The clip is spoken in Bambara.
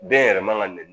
Den yɛrɛ man ka nɛni